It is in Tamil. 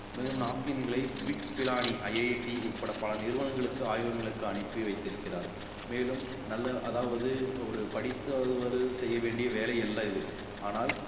மேலும் napkin களை bits pilaniIIT உட்பட பல நிறுவனங்களுக்கு ஆய்வகங்களுக்கு அனுப்பி வைத்திருக்கிறார் மேலும் நல்ல அதாவது ஒரு படித்தவர்கள் செய்ய வேண்டிய வேலை அல்ல இது ஆனால்